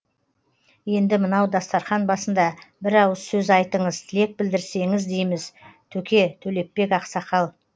енді мынау дастархан басында бір ауыз сөз айтыңыз тілек білдірсеңіз дейміз төке төлепбек ақсақал